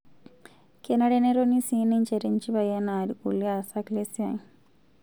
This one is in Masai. Kenare netoni sii ninche tenchipai enaa lkulie aasak lesiai